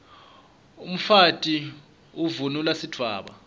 umfati uvunulb sidvwaba